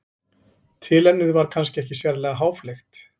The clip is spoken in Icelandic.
tilefnið var kannski ekki sérlega háfleygt